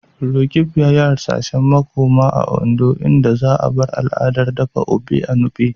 Roqeeb yayi hasashen makoma a Ondo, inda za'a bar al'adar dafa Ofe Enugbe.